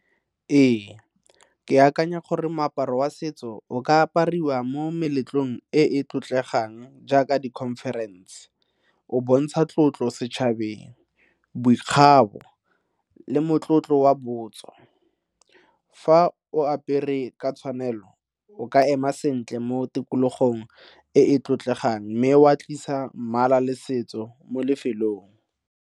Ee, ke akanya gore moaparo wa setso o ka apariwa mo meletlong e e tlotlegang jaaka di-conference o bontsha tlotlo setšhabeng, boikgabo le motlotlo wa botso. Fa o apere ka tshwanelo o ka ema sentle mo tikologong e e tlotlegang mme wa tlisa mmala le setso mo lefelong.